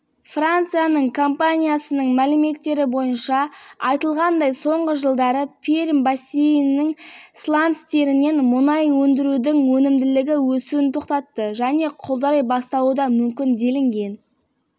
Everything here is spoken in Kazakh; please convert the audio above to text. бұл тұжырым газетінің кестелер тақтатас революциясы шыңынан өтті ма деген мақаласында жасалған аймақ инвесторларды экономиканың аграрлық секторына